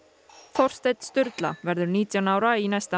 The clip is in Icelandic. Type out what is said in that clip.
Þorsteinn Sturla verður nítján ára í næsta